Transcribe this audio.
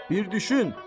Bir düşün.